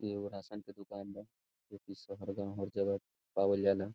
इ एगो राशन के दुकान बा जे की शहर गांव हर जगह पाएल जाला।